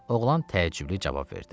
Oğlan təəccüblü cavab verdi.